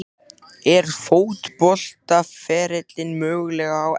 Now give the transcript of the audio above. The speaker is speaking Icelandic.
Er fótboltaferillinn mögulega á enda?